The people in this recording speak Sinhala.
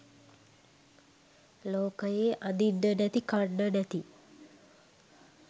ලෝකයේ අඳින්න නැති කන්න නැති